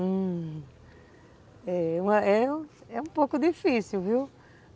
Hum... É é um pouco difícil, viu?